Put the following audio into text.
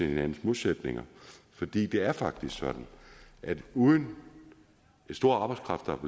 hinandens modsætninger for det det er faktisk sådan at uden den store arbejdskraft der